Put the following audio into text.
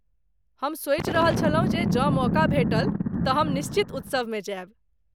हम सोचि रहल छलहुँ जे जँ मौका भेटल तँ हम निश्चित उत्सवमे जायब।